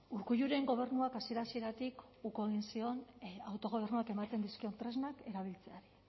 urkulluren gobernuak hasiera hasieratik uko egin zion autogobernuak ematen dizkion tresnak erabiltzea